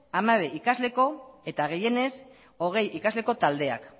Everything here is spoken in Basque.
hamabi ikasleko eta gehienez hogei ikasleko taldeak